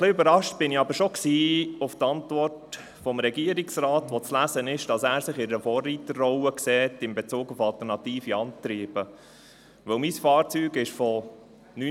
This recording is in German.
Ich bin Besitzer von zwei Elektrofahrzeugen, das eine weist 160 000 Kilometer auf, das andere 130 000 Kilometer.